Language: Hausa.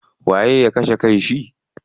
Waye ya kashe kan shi?